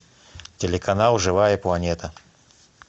телеканал живая планета